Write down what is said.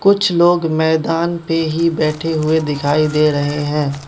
कुछ लोग मैदान पे ही बैठे हुए दिखाई दे रहें हैं।